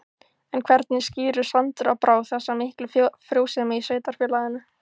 En hvernig skýrir Sandra Brá þessa miklu frjósemi í sveitarfélaginu?